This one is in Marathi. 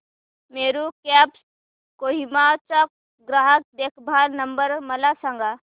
मेरू कॅब्स कोहिमा चा ग्राहक देखभाल नंबर मला सांगा